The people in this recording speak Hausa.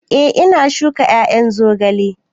Eh, ina shuka ƴaƴan zogalen